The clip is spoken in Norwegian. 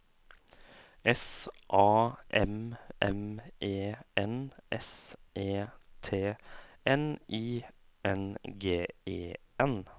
S A M M E N S E T N I N G E N